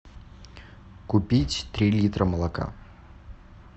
купить три литра молока